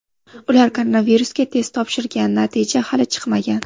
Ular koronavirusga test topshirgan, natija hali chiqmagan.